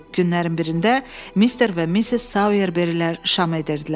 Günlərin birində Mister və Missis Sayerberlər şam edirdilər.